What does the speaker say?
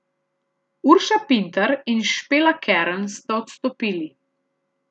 Urša Pintar in Špela Kern sta odstopili.